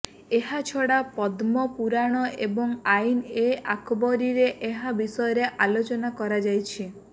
ଏହାଛଡା ପଦ୍ମପୁରାଣ ଏବଂ ଆଇନ ଏ ଆକବରୀରେ ଏହା ବିଷୟରେ ଆଲୋଚନା କରାଯାଇଛି